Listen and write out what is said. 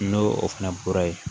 N'o o fana bɔra yen